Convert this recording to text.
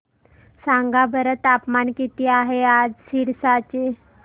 सांगा बरं तापमान किती आहे आज सिरसा चे